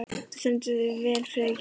Þú stendur þig vel, Friðgeir!